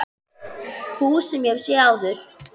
Hús sem ég hef séð áður.